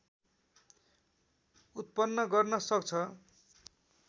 उत्पन्न गर्न सक्छ